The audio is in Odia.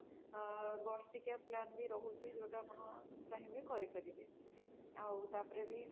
ଆଁ ବାର୍ଷିକିୟା plan ବି ରହୁଛି ଯୋଉଟା ଆପଣ ଚାହିଁବେ କରିପାରିବେ ଆଉ ତା' ପରେ ବି